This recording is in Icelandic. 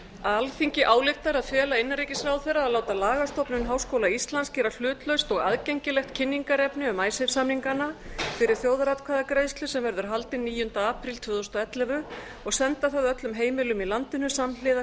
alþingi ályktar að fela innanríkisráðherra að láta lagastofnun háskóla íslands gera hlutlaust og aðgengilegt kynningarefni um icesave samningana fyrir þjóðaratkvæðagreiðslu sem verður haldin níunda apríl tvö þúsund og ellefu og senda það öllum heimilum í landinu samhliða